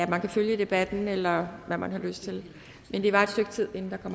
kan følge debatten eller hvad man har lyst til men det varer et stykke tid inden der